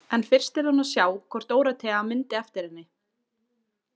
En fyrst yrði hún að sjá hvort Dórótea myndi eftir henni.